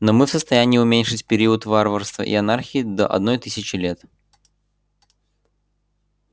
но мы в состоянии уменьшить период варварства и анархии до одной тысячи лет